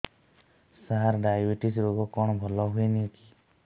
ସାର diabetes ରୋଗ କଣ ଭଲ ହୁଏନି କି